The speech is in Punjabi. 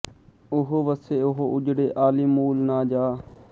ਉਹ ਵੱਸੇ ਉਹ ਉੱਜੜੇ ਆਹਲੀ ਮੂਲ ਨਾ ਜਾਹ